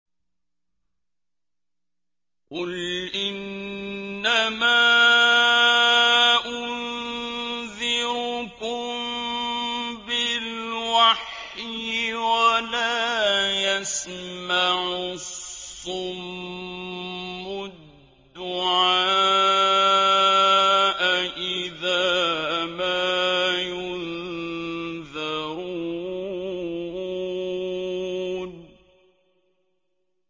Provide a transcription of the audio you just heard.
قُلْ إِنَّمَا أُنذِرُكُم بِالْوَحْيِ ۚ وَلَا يَسْمَعُ الصُّمُّ الدُّعَاءَ إِذَا مَا يُنذَرُونَ